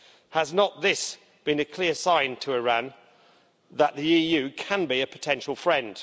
Has not this been a clear sign to Iran that the EU can be a potential friend?